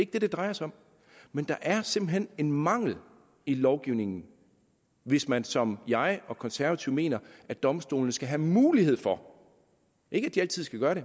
det det drejer sig om men der er simpelt hen en mangel i lovgivningen hvis man som jeg og konservative mener at domstolene skal have mulighed for ikke at de altid skal gøre